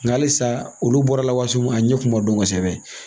Nka halisa olu bɔra la waati mun a ɲɛ kun ma dɔn kosɛbɛ.